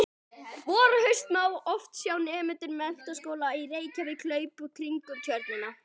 Vor og haust má oft sjá nemendur Menntaskólans í Reykjavík hlaupa kringum Tjörnina.